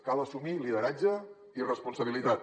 cal assumir lideratge i responsabilitat